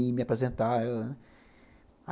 E me apresentar a ela, né.